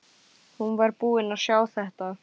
Hún var búin að sjá þetta!